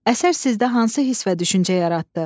Əsər sizdə hansı hiss və düşüncə yaratdı?